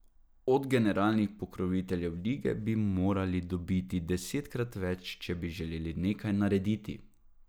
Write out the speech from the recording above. Od generalnih pokroviteljev lige bi morali dobiti desetkrat več, če bi želeli nekaj narediti.